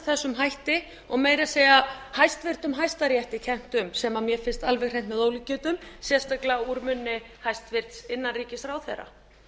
þessum hætti og meira að segja hæstvirtur hæstarétti kennt um sem mér finnst alveg hreint með ólíkindum sérstaklega úr munni hæstvirtur innanríkisráðherra